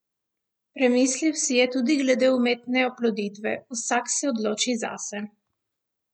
Premislil si je tudi glede umetne oploditve: "Vsak se odloči zase.